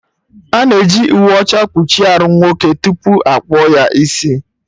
Ana eji uwe ọcha kpuchie arụ nwoke tupu akpụọ ya isi